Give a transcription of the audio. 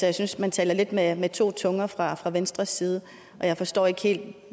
jeg synes man taler lidt med to tunger fra fra venstres side og jeg forstår ikke helt